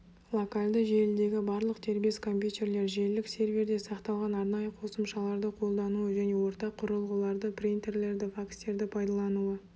локальды желідегі барлық дербес компьютерлер желілік серверде сақталған арнайы қосымшаларды қолдануы және ортақ құрылғыларды принтерлерді факстерді пайдалануы